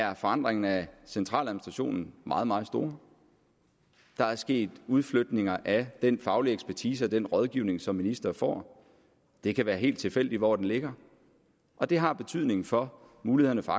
har forandringerne af centraladministrationen meget meget store der er sket udflytninger af den faglige ekspertise og den rådgivning som ministre får det kan være helt tilfældigt hvor den ligger og det har betydning for mulighederne for